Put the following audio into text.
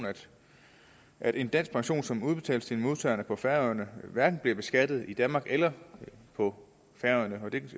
at en dansk pension som udbetales til en modtager på færøerne hverken bliver beskattet i danmark eller på færøerne det